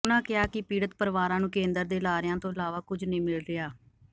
ਉਨ੍ਹਾਂ ਕਿਹਾ ਕਿ ਪੀੜਤ ਪਰਿਵਾਰਾਂ ਨੂੰ ਕੇਂਦਰ ਦੇ ਲਾਰਿਆਂ ਤੋਂ ਇਲਾਵਾ ਕੁਝ ਨਹੀਂ ਮਿਲ ਰਿਹਾ